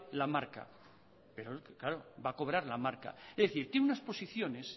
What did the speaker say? la marca pero claro va a cobrar la marca es decir tiene unas posiciones